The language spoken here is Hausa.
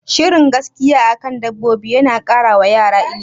Shirin gaskiya akan dabbobi yana kara wa yara ilimi